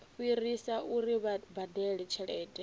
fhirisa uri vha badele tshelede